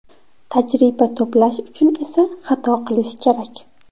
Tajriba to‘plash uchun esa xato qilish kerak.